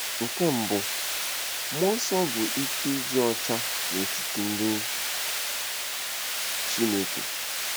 Nke mbụ, mmụọ nsọ bụ ike ịdị ọcha n’etiti ndị Chineke.